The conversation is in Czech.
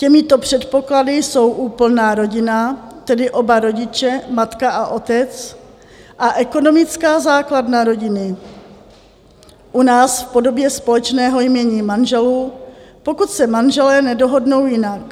Těmito předpoklady jsou úplná rodina, tedy oba rodiče, matka a otec, a ekonomická základna rodiny, u nás v podobě společného jmění manželů, pokud se manželé nedohodnou jinak.